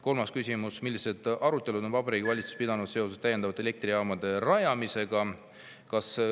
" Kolmas küsimus: "Milliseid arutelusid on Vabariigi Valitsus pidanud seoses täiendavate elektrijaamade rajamisega?